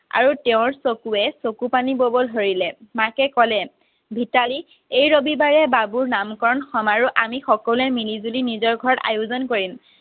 আৰু তেওঁৰ চকুৰে চকু পানী বব ধৰিলে মাকে ক'লে ভিতালী এই ৰবি বাৰে বাবুৰ নাম কৰন সমাৰোহ আমি সকলোৱে মিলি জুলি নিজৰ ঘৰত আয়োজন কৰিম